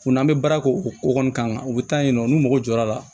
Kunna an bɛ baara kɛ o ko kɔni kama u bɛ taa yen nɔ n'u mɔgɔ jɔra